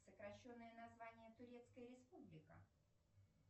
сокращенное название турецкая республика